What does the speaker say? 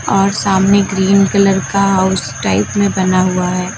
और सामने green colour का हाउस टाइप में बना हुआ है।